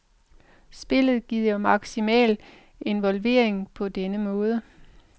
Spillet giver maksimal involvering på denne måde.